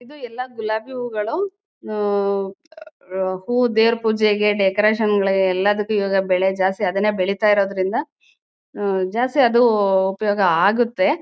ಇದು ಎಲ್ಲ ಗುಲಾಬಿ ಹೂಗಳು ಹಾ ಹ್ಮ್ಮ್ಮ್ ಆ ಹೂ ದೇವರ್ ಪೂಜೆಗೆ ಡೆಕೋರೇಷನ್ ಗಳಿಗೆ ಎಲ್ಲದಕ್ಕೂ ಇವಾಗ ಬೆಲೆ ಜಾಸ್ತಿ ಅದನ್ನೇ ಬೆಳಿತಾ ಇರೋದ್ರಿಂದ ಆ ಜಾಸ್ತಿ ಅದು ಉಪಯೋಗ ಆಗುತ್ತೆ.